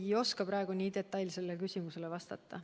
Ma ei oska praegu nii detailsele küsimusele vastata.